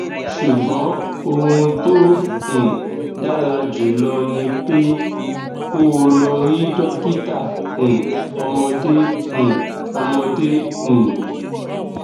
ṣùgbọn ohun tó um dára jùlọ ni pé kó o lọ rí dókítà um ọmọdé um ọmọdé um